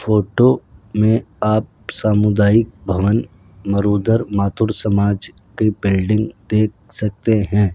Photo में आप सामुदायिक भवन मरुधर मातुड़ समाज की बिल्डिंग देख सकते हैं।